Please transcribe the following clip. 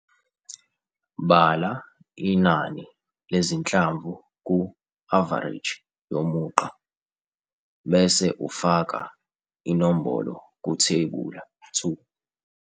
3.3 Bala inani lezinhlamvu ku-avareji yomugqa bese ufaka inombolo kuThebula 2.